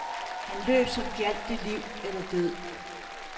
Han løb, som gjaldt det liv eller død.